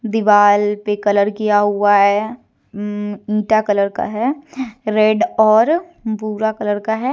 दीवाल पे कलर किया हुआ है उ ईटा कलर का है रेड और भूरा कलर का है।